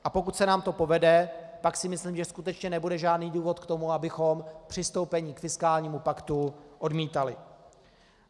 A pokud se nám to povede, pak si myslím, že skutečně nebude žádný důvod k tomu, abychom přistoupení k fiskálnímu paktu odmítali.